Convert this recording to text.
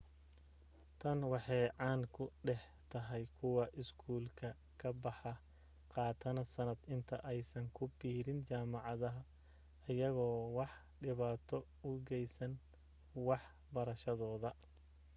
tan waxee caaan ku dhex tahay kuwa iskuulka ka baxa qaatana sanad inta aysan ku biirin jaamacada ayagoo wax dhibaata u geysan wax barashadooda